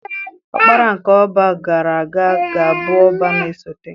Ọkpara nke Ọbá gara aga ga-abụ Ọbá na-esote